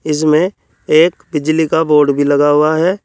इसमें एक बिजली का बोर्ड भी लगा हुआ है।